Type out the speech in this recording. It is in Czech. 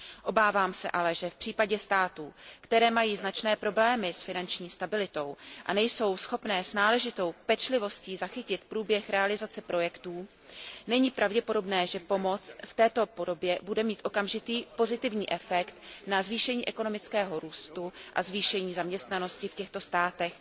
Obávám se ale, že v případě států, které mají značné problémy s finanční stabilitou a nejsou schopné s náležitou pečlivostí zachytit průběh realizace projektů, není pravděpodobné, že pomoc v této podobě bude mít okamžitý, pozitivní efekt na zvýšení ekonomického růstu a zvýšení zaměstnanosti v těchto státech.